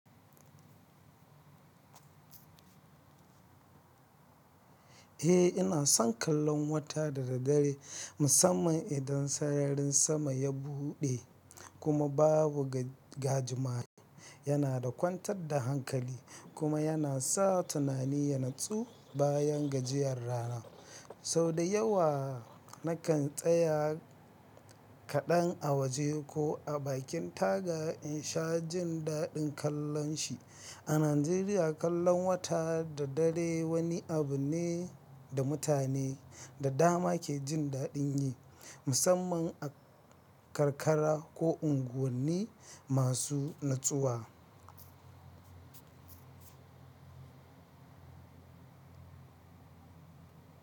Eh, ina son kallon wata da dare, musamman idan sararin sama ya buɗe kuma babu gajimare. Yana da kwantar da hankali kuma yana sa tunani ya natsu bayan gajiyar rana. Sau da yawa nakan tsaya kaɗan a waje ko a bakin taga in sha jin daɗin kallon shi. A Najeriya, kallon wata da dare wani abu ne da mutane da dama ke jin daɗin yi, musamman a karkara ko unguwanni masu natsuwa.